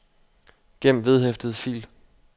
gem vedhæftet fil